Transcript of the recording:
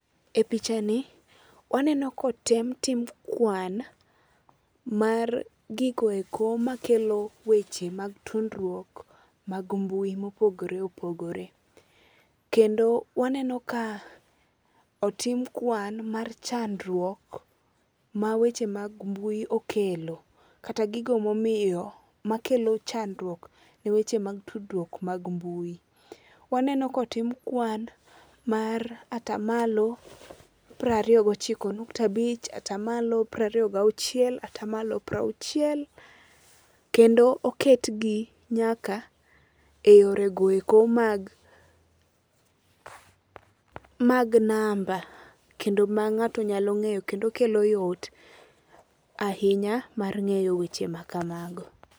E pichani, waneno kotem tim kwan mar gigo eko makelo weche mag tudruok mag mbui mopogore opogore. Kendo waneno ka otim kwan mar chandruok ma weche mag mbui okelo kata gigo momiyo makelo chandruok ne weche mag tudruok mag mbui. Waneno kotim kwan mar atamalo prariyo gochiko nukta abich, atamalo prariyo gauchiel, atamalo prauchiel, kendo oketgi nyaka e yoreo eko mag namba, kendo ma ng'ato nyalo ng'eyo kendo kelo yot ahinya mar ng'eyo weche ma kamago.